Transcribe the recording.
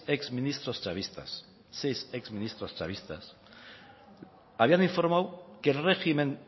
exministros chavistas habían informado que el régimen